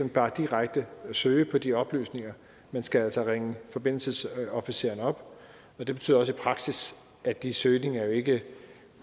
bare direkte søge på de oplysninger man skal altså ringe forbindelsesofficeren op og det betyder også i praksis at de søgninger ikke